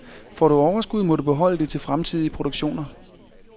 Får du overskud må du beholde det til fremtidige produktioner.